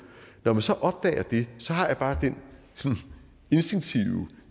når man så opdager det har jeg bare den instinktive